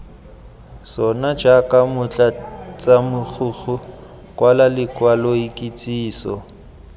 sona jaaka motlatsamogokgo kwala lekwaloikitsiso